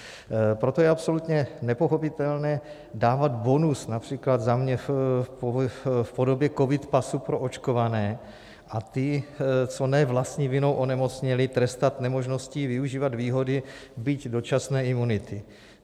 Proto je absolutně nepochopitelné dávat bonus, například za mě v podobě covid pasu pro očkované, a ty, co ne vlastní vinou onemocněli, trestat nemožností využívat výhody byť dočasné imunity.